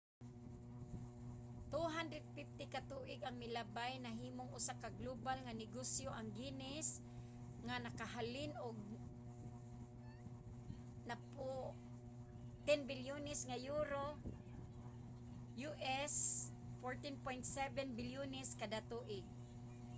250 ka tuig ang milabay nahimong usa ka global nga negosyo ang guinness nga nakahalin og 10 bilyones nga euro us$14.7 bilyones kada tuig